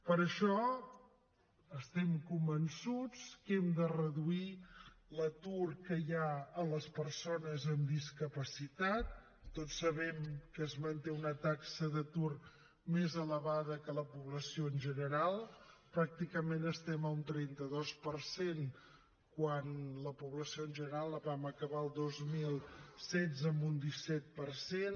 per això estem convençuts que hem de reduir l’atur que hi ha a les persones amb discapacitat tots sabem que es manté una taxa d’atur més elevada que a la població en general pràcticament estem a un trenta dos per cent quan a la població en general vam acabar el dos mil setze amb un disset per cent